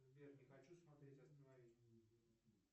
сбер не хочу смотреть останови